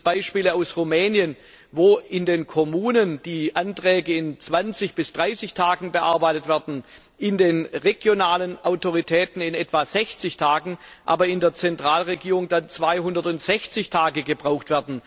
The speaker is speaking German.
So gibt es Beispiele aus Rumänien, wo in den Kommunen die Anträge in 20 bis 30 Tagen bearbeitet werden, in den regionalen Behörden in etwa 60 Tagen, die Zentralregierung dann aber 260 Tage braucht.